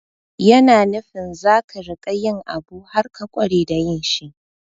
Yana nufin za ka riƙa yin abu har ka ƙware da yin shi.